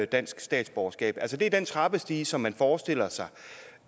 dansk statsborgerskab altså det er den trappestige som man forestiller sig